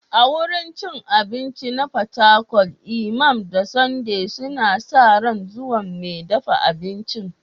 A wurin cin abinci na Fatakwal, Imam da Sunday suna sa ran zuwan mai dafa abincin.